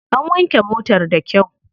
An wanke motar da kyau.